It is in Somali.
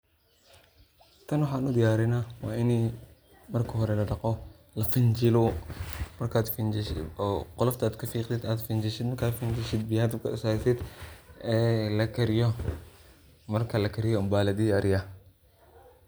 tan waxan udiyarinaa waa ini marka hore la dhaqo, la finjilo ,markad finjishid oo qolofta ad kaficdid ad finjishid, markad finjishid biya dabka usartid ee lakariyo marka lakariyo mba ladiyariya